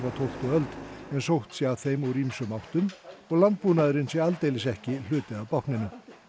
tólftu öld en sótt sé að þeim úr ýmsum áttum og landbúnaður sé aldeilis ekki hluti af bákninu